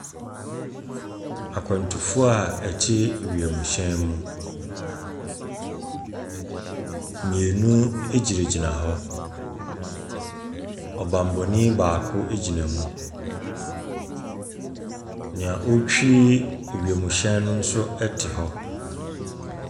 Akwantufoɔ a ɛte wiem hyɛn mu, mienu ɛgyina gyina hɔ. Ɔbanbɔnii baako gyina mu. Nea ɔɔtwi ɛwiemu no nso ɛte hɔ.